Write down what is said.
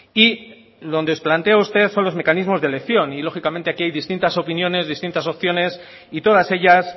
y donde nos plantea a usted son los mecanismos de elección y lógicamente aquí hay distintas opiniones distintas opciones y todas ellas